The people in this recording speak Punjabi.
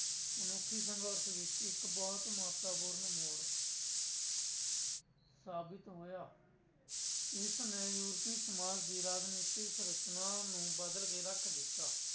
ਮਨੁੱਖੀ ਸੰਘਰਸ਼ ਵਿੱਚ ਇੱਕ ਬਹੁਤ ਮਹੱਤਵਪੂਰਨ ਮੋੜ ਸਾਬਿਤ ਹੋਇਆ ਇਸ ਨੇ ਯੂਰਪੀ ਸਮਾਜ ਦੀ ਰਾਜਨੀਤਿਕ ਸਰਚਨਾ ਨੂੰ ਬਦਲ ਕੇ ਰੱਖ ਦਿੱਤਾ।